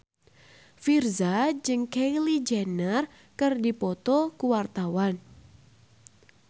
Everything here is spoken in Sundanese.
Virzha jeung Kylie Jenner keur dipoto ku wartawan